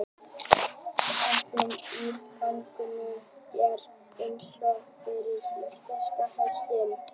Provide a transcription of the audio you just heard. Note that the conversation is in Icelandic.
Keppni í gangtegundum er einstök fyrir íslenska hestinn.